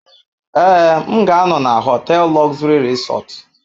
Ee, m ga-anọ na họtel Luxury Resort.